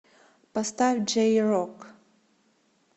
поставь джей рок